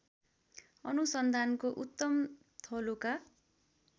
अनुसन्धानको उत्तम थलोका